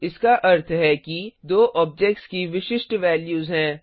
इसका अर्थ है कि दो ऑब्जेक्ट्स की विशिष्ट बैल्यूज हैं